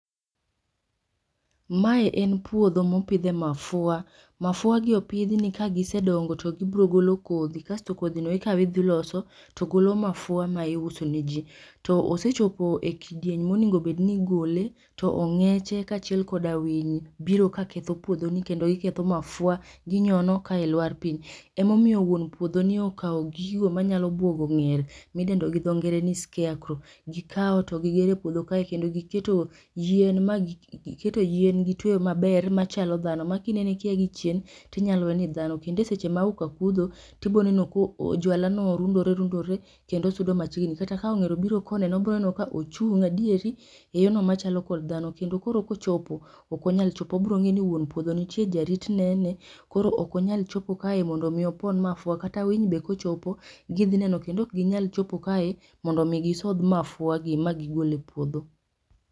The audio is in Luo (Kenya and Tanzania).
Mae en puodho mopidhe mafua, mafua opidh ni ka gisedongo to gibiro golo kodhi kasto kodhi no ikaw idhi iloso to golo mafua ma iuso ne jii. To osechopo e kidieny monego obedni igole to ongeche kachiel koda winy biro ka ketho puodho ni kendo giketho mafua ginyono kae lwar piny. Ema omiyo wuon puodho ni okaw gigo manyalo buogo onger midendo gi dho ngere ni scarecrow, gika to gigero e puodho ka kendo giketo yien magi keto yien gitweyo maber machalo dhano ma kineno kia gi chien tinyalo wee ni dhano kendo e seche ma auka kudho to ibo neno ka jwala no rundore rundore kendo sudo machiegni kata ka onger obiro ka oneno obro neno ka ochung adieri yorno machalo kod dhano kendo koro kochopo ok onyal chopo obro ngeyo ni wuon puodho nitie, jarit nene koro ok onyal chopo kae mondo opon mafua. Kata winy be kochopo gidhi neno kendo ok ginyal chopo kae mondo mi gisodh mafua gi ma gigol e puodho